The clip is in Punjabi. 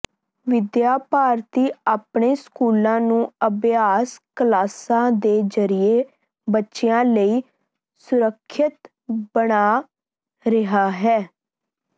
ਵਿਦਿਆ ਭਾਰਤੀ ਆਪਣੇ ਸਕੂਲਾਂ ਨੂੰ ਅਭਿਆਸ ਕਲਾਸਾਂ ਦੇ ਜਰੀਏ ਬੱਚਿਆਂ ਲਈ ਸੁਰੱਖਿਅਤ ਬਣਾ ਰਿਹਾ ਹੈ